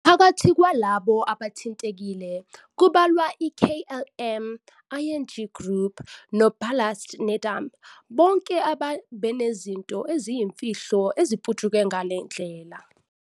Phakathi kwalabo abathintekile kubalwa i-KLM, ING Group, noBallast Nedam, bonke abebenezinto eziyimfihlo eziputshuke ngale ndlela.